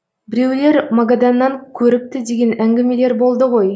біреулер магаданнан көріпті деген әңгімелер болды ғой